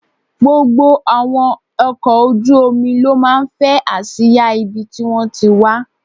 Gbogbo àwọn ọkọ̀ ojú omi ló máa ń fẹ́ àsìá ibi tí wón ti wá.